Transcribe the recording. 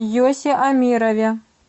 йосе амирове